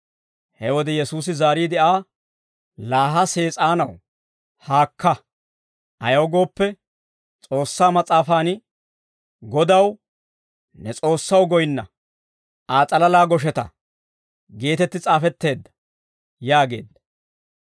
He wode Yesuusi zaariide Aa, «Laa ha Sees'aanaw haakka; ayaw gooppe, S'oossaa mas'aafaan, ‹Godaw, ne S'oossaw goyinna; Aa s'alalaa gosheta› geetetti s'aafetteedda» yaageedda.